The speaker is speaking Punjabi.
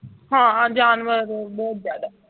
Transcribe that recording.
ਹਾਂ ਜਾਨਵਰ ਬਹੁਤ ਬਹੁਤ ਜ਼ਿਆਦਾ